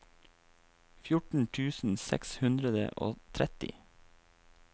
fjorten tusen seks hundre og tretti